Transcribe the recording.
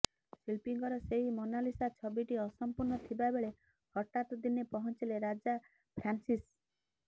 ଶିଳ୍ପୀଙ୍କର ସେହି ମୋନାଲିସା ଛବିଟି ଅସମ୍ପୂର୍ଣ୍ଣ ଥିବାବେଳେ ହଠାତ୍ ଦିନେ ପହଞ୍ଚିଲେ ରାଜା ଫ୍ରାନ୍ସିସ୍